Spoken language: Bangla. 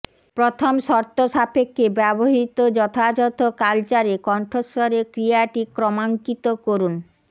প্রথম শর্তসাপেক্ষে ব্যবহৃত যথাযথ কালচারে কণ্ঠস্বরে ক্রিয়াটি ক্রমাঙ্কিত করুন